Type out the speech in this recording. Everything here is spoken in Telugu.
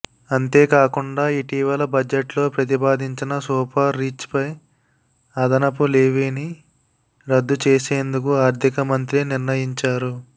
అంతేకాకుండా ఇటీవల బడ్జెట్లో ప్రతిపాదించిన సూపర్ రిచ్పై అదనపు లెవీని రద్దు చేసేందుకు ఆర్థిక మంత్రి నిర్ణయించారు